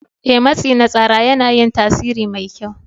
Ee, matsi na tsara yana yin tasiri mai kyau.